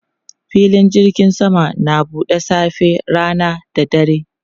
Filin jirgin sama na buɗe safe, rana da dare.